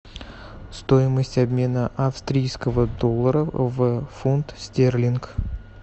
стоимость обмена австрийского доллара в фунт стерлинг